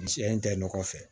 Misi in tɛ nɔgɔ fɛ